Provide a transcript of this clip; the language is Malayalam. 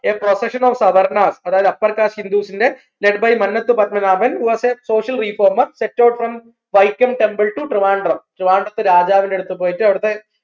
a professional സവർണ്ണ അതായത് upper caste hindus ന്റെ lead by Mannath Padmanabhan was a social reformer from Vaikom temple to Trivandrum അവിടത്തെ രാജാവിൻറെടുത്ത് പോയിട്ട്